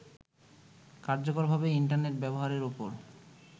কার্যকরভাবে ইন্টারনেট ব্যবহারের ওপর